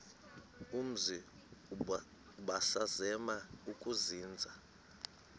umzi ubusazema ukuzinza